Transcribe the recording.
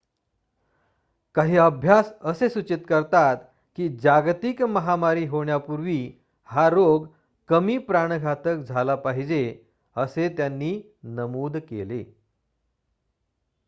काही अभ्यास असे सूचित करतात की जागतिक महामारी होण्यापूर्वी हा रोग कमी प्राणघातक झाला पाहिजे असे त्यांनी नमूद केले